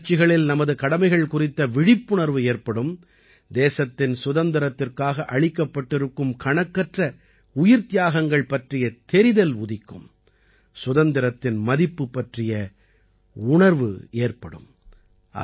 இந்த முயற்சிகளில் நமது கடமைகள் குறித்த விழிப்புணர்வு ஏற்படும் தேசத்தின் சுதந்திரத்திற்காக அளிக்கப்பட்டிருக்கும் கணக்கற்ற உயிர்த்தியாகங்கள் பற்றிய தெரிதல் உதிக்கும் சுதந்திரத்தின் மதிப்பு பற்றிய உணர்வு ஏற்படும்